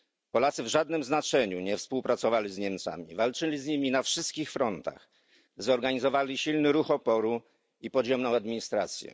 Polacy w żadnym znaczeniu nie współpracowali z Niemcami, walczyli z nimi na wszystkich frontach, zorganizowali silny ruch oporu i podziemną administrację.